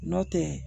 Nɔntɛ